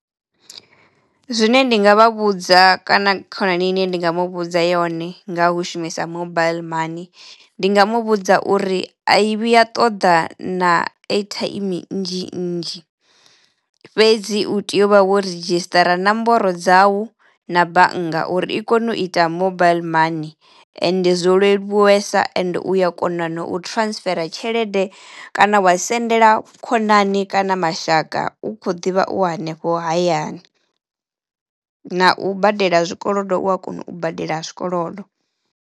Zwine ndi nga vha vhudza kana khonani ine ndi nga mu vhudza yone nga hu shumisa mobile money ndi nga mu vhudza uri a i vhuya ṱoḓa na airtime nnzhi nnzhi fhedzi u tea u vha wo ridzhisṱara nomboro dzawu na bannga uri i kono u ita mobile money ende zwo leluwesa ende uya kona na u transfera tshelede kana wa sendela khonani kana mashaka u kho ḓivha u hanefho hayani na u badela zwikolodo u a kona u badela zwikolodo.